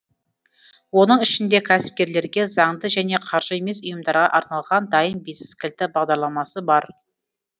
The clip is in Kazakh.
оның ішінде кәсіпкерлерге заңды және қаржы емес ұйымдарға арналған дайын бизнес кілті бағдарламасы бар